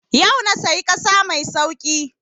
Yau na sayi ƙasa mai sauƙi